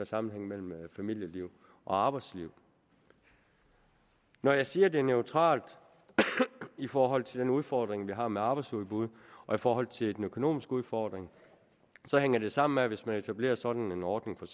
sammenhæng mellem familieliv og arbejdsliv når jeg siger at det er neutralt i forhold til den udfordring vi har med arbejdsudbuddet og i forhold til den økonomiske udfordring så hænger det sammen med at hvis man etablerer sådan en ordning for